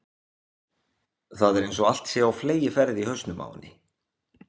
Það er einsog allt sé á fleygiferð í hausnum á henni.